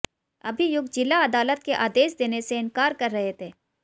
अभियुक्त जिला अदालत के आदेश देने से इंकार कर रहे थे